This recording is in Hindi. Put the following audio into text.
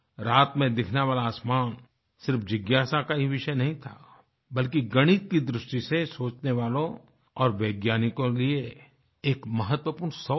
रात में दिखने वाला आसमान सिर्फ जिज्ञासा का ही विषय नहीं था बल्कि गणित की दृष्टि से सोचने वालों और वैज्ञानिकों के लिए एक महवपूर्ण sourceथा